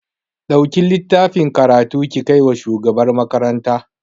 Ɗauki littafin karatun ki kai wa shugabar makaranta